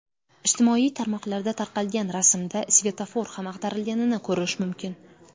Ijtimoiy tarmoqlarda tarqalgan rasmda svetofor ham ag‘darilganini ko‘rish mumkin.